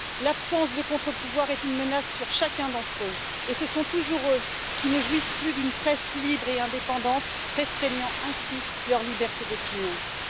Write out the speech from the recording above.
L'absence de contre pouvoir est une menace sur chacun d'entre eux, et ce sont toujours eux qui ne jouissent plus d'une presse libre et indépendante, voyant ainsi leur liberté d'opinion restreinte.